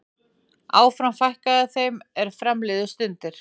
Áfram fækkaði þeim er fram liðu stundir.